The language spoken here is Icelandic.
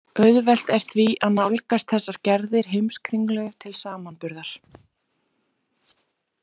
Auðvelt er því að nálgast þessar gerðir Heimskringlu til samanburðar.